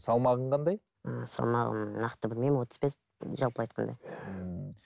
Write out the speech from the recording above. салмағың қандай ыыы салмағым нақты білмеймін отыз бес жалпы айтқанда ыыы